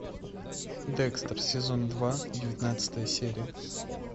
декстер сезон два девятнадцатая серия